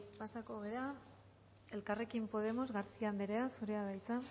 pasako gara elkarrekin podemos garcía andrea zurea da hitza